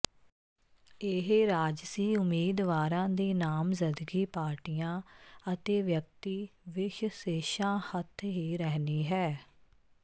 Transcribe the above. ਇਹ ਰਾਜਸੀ ਉਮੀਦਵਾਰਾਂ ਦੀ ਨਾਮਜ਼ਦਗੀ ਪਾਰਟੀਆਂ ਅਤੇ ਵਿਅਕਤੀਵਿਸ਼ਸੇਸ਼ਾਂ ਹਥ ਹੀ ਰਹਿਣੀ ਹੈ